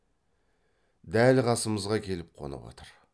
дәл қасымызға келіп қонып отыр